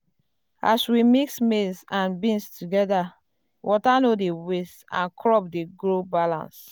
as we mix maize and beans together water no dey waste um and crop dey grow balance.